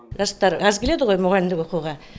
жастар аз келеді ғой мұғалімдік оқуға